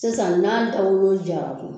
Sisan n'a dagolo jara kun